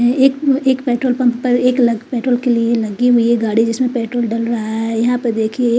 ये एक petrol pump पर एक लाइन पेट्रोल के लिए लगी हुई है गाड़ी जिसमे पेट्रोल डलवाया है यहाँ पर देखिये--